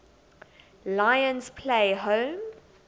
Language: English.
lions play home